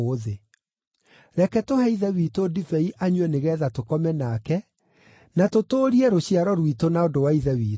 Reke tũhe ithe witũ ndibei anyue nĩgeetha tũkome nake, na tũtũũrie rũciaro rwitũ na ũndũ wa ithe witũ.”